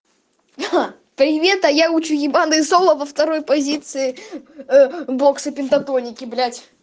привет а я учу ебаную соло во второй позиции боксы пентатоники блять